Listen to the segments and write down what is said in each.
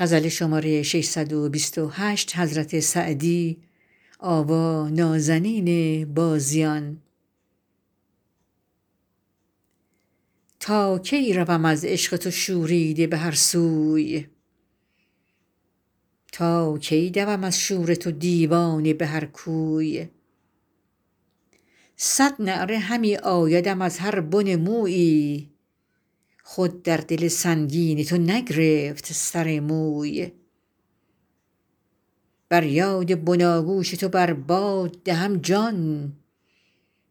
تا کی روم از عشق تو شوریده به هر سوی تا کی دوم از شور تو دیوانه به هر کوی صد نعره همی آیدم از هر بن مویی خود در دل سنگین تو نگرفت سر موی بر یاد بناگوش تو بر باد دهم جان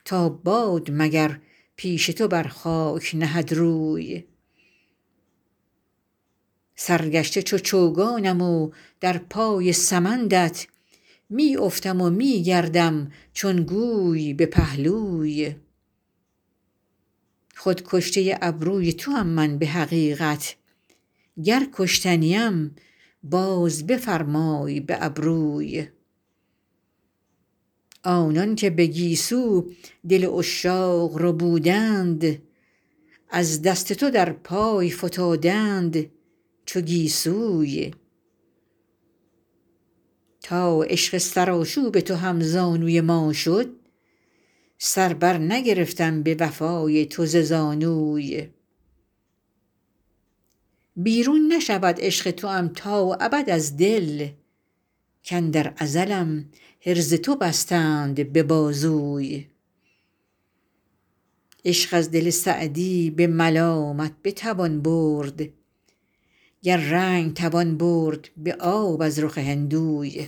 تا باد مگر پیش تو بر خاک نهد روی سرگشته چو چوگانم و در پای سمندت می افتم و می گردم چون گوی به پهلوی خود کشته ابروی توام من به حقیقت گر کشته نیم باز بفرمای به ابروی آنان که به گیسو دل عشاق ربودند از دست تو در پای فتادند چو گیسوی تا عشق سرآشوب تو هم زانوی ما شد سر بر نگرفتم به وفای تو ز زانوی بیرون نشود عشق توام تا ابد از دل کاندر ازلم حرز تو بستند به بازوی عشق از دل سعدی به ملامت بتوان برد گر رنگ توان برد به آب از رخ هندوی